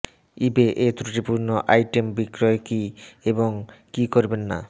ইবে এ ত্রুটিপূর্ণ আইটেম বিক্রয় কি এবং কি করবেন না